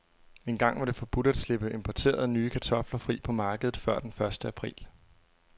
Engang var det forbudt at slippe importerede, nye kartofler fri på markedet før den første april.